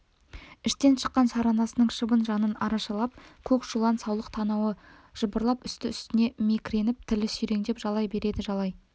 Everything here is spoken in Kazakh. іштен шыққан шаранасының шыбын жанын арашалап көк шулан саулық танауы жыбырлап үсті-үстіне мекіреніп тілі сүйреңдеп жалай береді жалай